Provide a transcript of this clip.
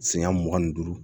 Siɲɛ mugan ni duuru